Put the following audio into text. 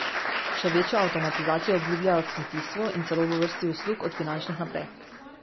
Še večjo avtomatizacijo obljubljajo v kmetijstvu in celo v vrsti uslug od finančnih naprej.